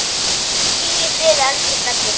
Hvíl í friði, elsku Stebbi.